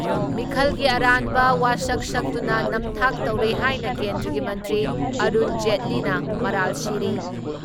ꯃꯤꯈꯜꯒꯤ ꯑꯔꯥꯟꯕ ꯋꯥꯁꯛ ꯁꯛꯇꯨꯅ ꯅꯝꯊꯥꯛ ꯇꯧꯔꯦ ꯍꯥꯏꯅ ꯀꯦꯟꯗ꯭ꯔꯒꯤ ꯃꯟꯇ꯭ꯔꯤ ꯑꯔꯨꯟ ꯖꯦꯠꯂꯤꯅ ꯃꯔꯥꯜ ꯁꯤꯔꯤ ꯫